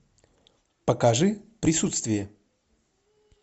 покажи присутствие